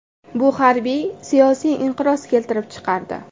Bu harbiy-siyosiy inqiroz keltirib chiqardi.